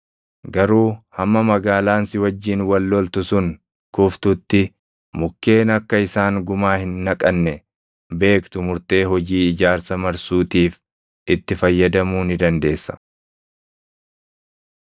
Garuu hamma magaalaan si wajjin wal loltu sun kuftutti mukkeen akka isaan gumaa hin naqanne beektu murtee hojii ijaarsa marsuutiif itti fayyadamuu ni dandeessa.